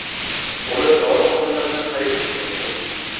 Uni dorixonalardan xarid qilish mumkin.